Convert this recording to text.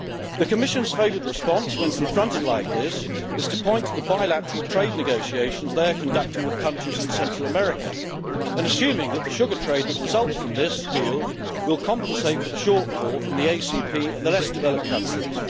The Commission's favourite response when confronted like this is to point to the bilateral trade negotiations that they are conducting with countries in Central America, and assuming that the sugar trade that results from this deal will compensate for the shortfall from the ACP and the less developed countries.